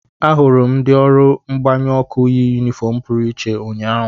Ahụrụ m ndị ọrụ mgbanyụ ọkụ yi yunifọọm pụrụ iche ụnyahụ.